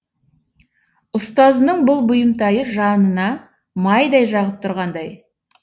ұстазының бұл бұйымтайы жанына майдай жағып тұрғандай